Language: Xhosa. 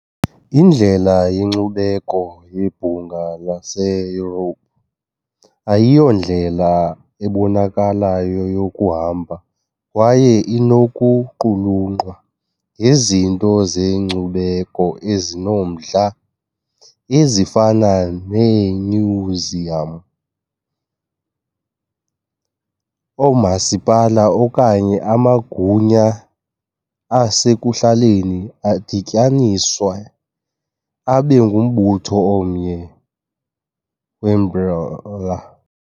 Indlela yenkcubeko yeBhunga laseYurophu ayiyondlela ebonakalayo yokuhamba kwaye inokuqulunqwa ngezinto zenkcubeko ezinomdla, ezifana neemyuziyam, oomasipala okanye amagunya asekuhlaleni adityaniswe abe ngumbutho omnye weambrela.